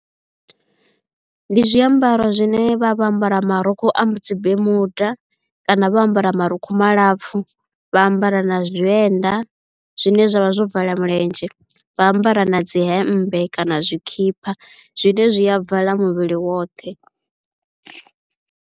Ndi zwiambaro zwine vha vho ambara marukhu a dzi bemuda kana vha ambara marukhu malapfhu vha ambara na zwienda zwine zwavha zwo vala milenzhe vha ambara na dzi hemmbe kana tshikhipha zwine zwi a vala muvhili woṱhe.